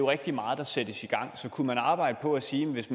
rigtig meget der sættes i gang så kunne man arbejde på at sige at hvis